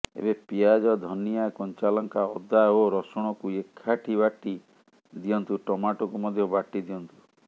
ଏବେ ପିଆଜ ଧନିଆ କଞ୍ଚାଲଙ୍କା ଅଦା ଓ ରସୁଣକୁ ଏକାଠି ବାଟି ଦିଅନ୍ତୁ ଟମୋଟୋକୁ ମଧ୍ୟ ବାଟିଦିଅନ୍ତୁ